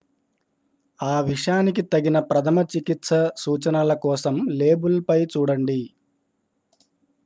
ఆ విషానికి తగిన ప్రథమ చికిత్స సూచనల కోసం లేబుల్ పై చూడండి